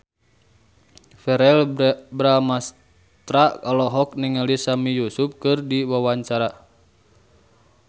Verrell Bramastra olohok ningali Sami Yusuf keur diwawancara